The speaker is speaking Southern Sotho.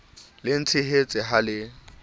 le ntshehetse ha e le